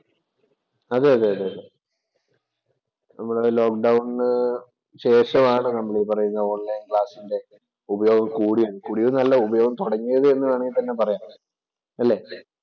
അതെ അതെ നമ്മടെ ലോക് ഡൗണിനു ശേഷമാണ് നമ്മള്‍ ഈ പറയുന്ന ഓൺലൈൻ ക്ലാസ്സിൻ്റെ ഉപയോഗം കൂടിയത്. കൂടിയത് എന്നല്ല ഉപയോഗം തുടങ്ങിയത് എന്ന് വേണമെങ്കിൽ തന്നെ പറയാം അല്ലേ?